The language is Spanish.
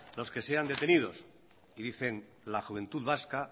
los que sean detenidos y dicen la juventud vasca